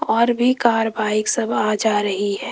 और भी car bike सब आ जा रही है।